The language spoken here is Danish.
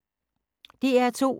DR2